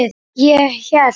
Ég hélt.